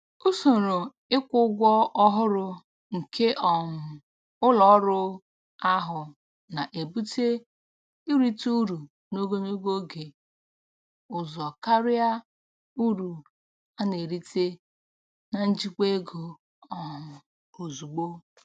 Usoro ịkwụ ụgwọ ọhụrụ nke um ụlọ ọrụ ahụ na-ebute irite uru n'ogologo oge ụzọ karịa uru a na-erite na njikwa ego um ozugbo.